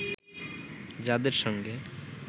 যাদের সঙ্গে